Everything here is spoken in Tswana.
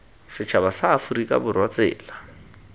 setšhaba sa aforika borwa tsela